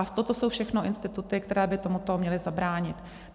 A toto jsou všechno instituty, které by tomuto měly zabránit.